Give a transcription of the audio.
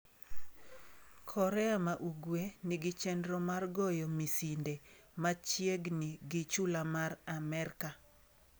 Korea ma Ugwe nigi chenro mar goyo misinde machiegni gi chula mar Amerka